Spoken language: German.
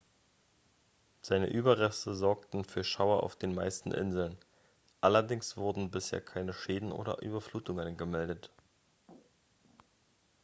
seine überreste sorgten für schauer auf den meisten inseln allerdings wurden bisher keine schäden oder überflutungen gemeldet